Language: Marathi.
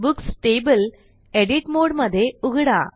बुक्स टेबल एडिट मोडमध्ये उघडा